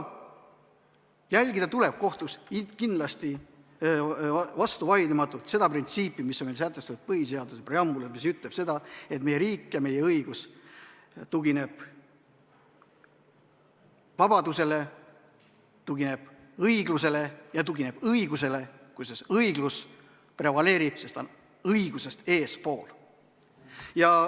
Aga kohtus tuleb kindlasti vastuvaidlematult järgida seda printsiipi, mis on meil sätestatud põhiseaduse preambulis ja mis ütleb seda, et meie riik ja meie õigus tugineb vabadusele, tugineb õiglusele ja õigusele, kusjuures õiglus prevaleerib, sest ta on õigusest eespool.